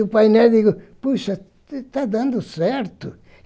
E o painel, digo, poxa, está dando certo.